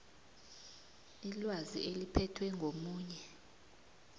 ilwazi eliphethwe ngomunye